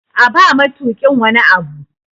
A ba matukin wani Abu!